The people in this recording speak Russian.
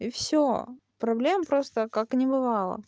и всё проблем просто как небывало